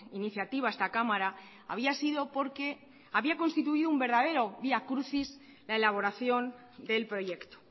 iniciativa a esta cámara había sido porque había constituido un verdadero vía crucis la elaboración del proyecto